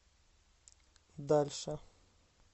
дальше